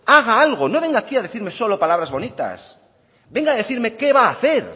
haga algo no venga aquí a decirnos solo palabras bonitas venga a decirme qué va a hacer